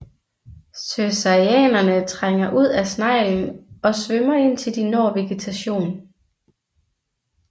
Cercariaerne trænger ud af sneglen og svømmer indtil de når vegetation